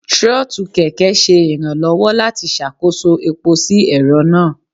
trotú kẹkẹ ṣe iranlọwọ lati ṣakoso epó si ẹrọ naa.